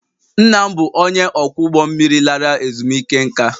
Nna m bụ onye ọkwọ ụgbọ mmiri lara ezumike nká